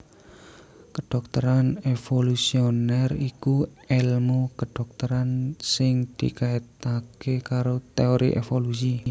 Kedhokteran evolusioner iku èlmu kedhokteran sing dikaitaké karo teori evolusi